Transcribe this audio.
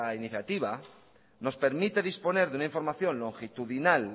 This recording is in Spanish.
iniciativa nos permite disponer de una información longitudinal